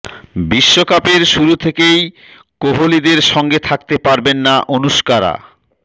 বিশ্বকাপের শুরু থেকেই কোহলিদের সঙ্গে থাকতে পারবেন না অনুষ্কারা